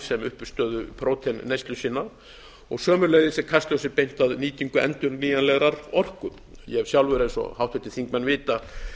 sem uppistöðu próteinneyslu sinnar og sömuleiðis er kastljósi beint að nýtingu endurnýjanlegrar orku ég hef sjálfur eins og háttvirtir þingmenn vita